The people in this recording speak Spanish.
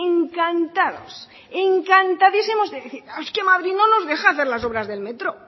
encantados encantadísimos de decir es que madrid no nos deja hacer las obras del metro